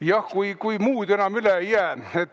Jah, kui muud enam üle ei jää.